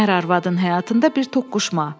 Ər-arvadın həyatında bir toqquşma.